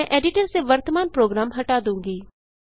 मैं एडिटर से वर्तमान प्रोग्राम हटा दूँगी